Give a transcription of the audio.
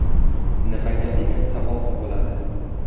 Nimaga degan savol tug‘iladi.